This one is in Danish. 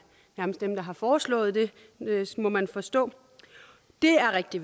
dem der har foreslået det må man forstå det er rigtig